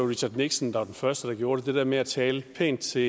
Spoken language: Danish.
richard nixon der var den første der gjorde det der med at tale pænt til